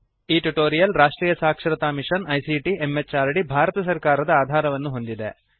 ಈ ಟ್ಯುಟೋರಿಯಲ್ ರಾಷ್ಟ್ರೀಯ ಸಾಕ್ಷರತಾ ಮಿಶನ್ ಐಸಿಟಿ ಎಂಎಚಆರ್ಡಿ ಭಾರತ ಸರ್ಕಾರದ ಆಧಾರವನ್ನು ಹೊಂದಿದೆ